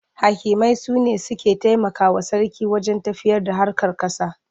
Hakimai su ne suke taimakawa sarki wajen tafiyarda harkar ƙasa.